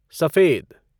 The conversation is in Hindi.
सफेद